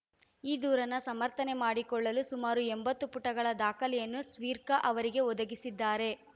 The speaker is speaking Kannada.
ಈ ದೂರನ್ನು ಸಮರ್ಥನೆ ಮಾಡಿಕೊಳ್ಳಲು ಸುಮಾರು ಎಂಬತ್ತು ಪುಟಗಳ ದಾಖಲೆಯನ್ನು ಸ್ಪೀರ್ಕ ಅವರಿಗೆ ಒದಗಿಸಿದ್ದಾರೆ